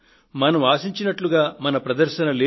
మనం ఆశించినట్లుగా మన ప్రదర్శన లేదు